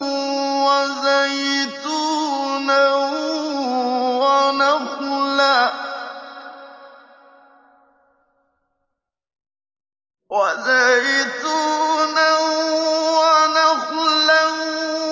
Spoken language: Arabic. وَزَيْتُونًا وَنَخْلًا